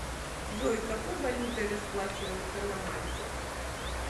джой какой валютой расплачиваются на мальте